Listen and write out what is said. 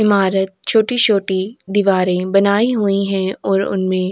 ईमारत छोटी-छोटी दीवारें बनाई हुईं हैं और उनमें --